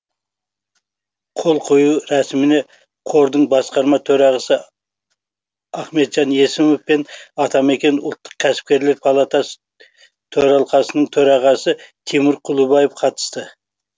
қол қою рәсіміне қордың басқарма төрағасы ахметжан есімов пен атамекен ұлттық кәсіпкерлер палатасы төралқасының төрағасы тимур кұлыбаев қатысты